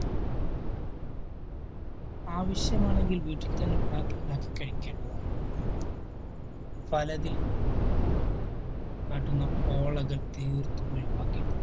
ആവശ്യമാണെങ്കിൽ വീട്ടിൽ തന്നെ ഉണ്ടാക്കി ഉണ്ടാക്കി കഴിക്കേണ്ടതാണ്. ഫലത്തിൽ കോള തീർത്തും ഒഴിവാക്കേണ്ടതാണ്